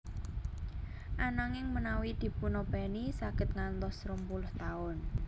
Ananging menawi dipunopèni saged ngantos rong puluh taun